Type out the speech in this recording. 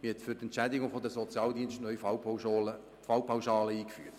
Man hat neu die Entschädigung der Sozialdienste mittels Fallpauschalen eingeführt.